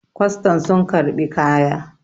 kwastan sun karɓi kaya!